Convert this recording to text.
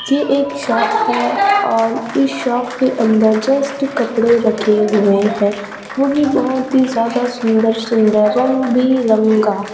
ये एक शॉप और इस शॉप के अंदर जस्ट कपड़े रखे हुए हैं वो भी बहोत ही ज्यादा सुंदर सुंदर रंग बिरंगा--